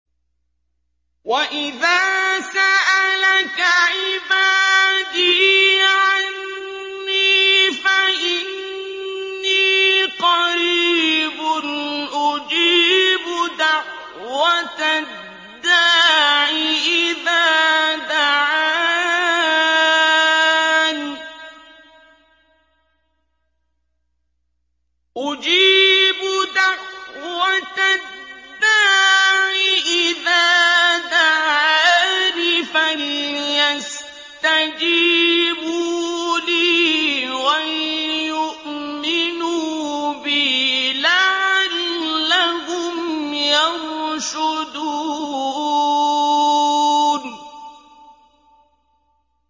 وَإِذَا سَأَلَكَ عِبَادِي عَنِّي فَإِنِّي قَرِيبٌ ۖ أُجِيبُ دَعْوَةَ الدَّاعِ إِذَا دَعَانِ ۖ فَلْيَسْتَجِيبُوا لِي وَلْيُؤْمِنُوا بِي لَعَلَّهُمْ يَرْشُدُونَ